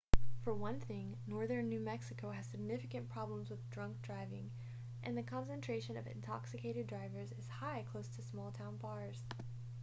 for one thing northern new mexico has significant problems with drunk driving and the concentration of intoxicated drivers is high close to small-town bars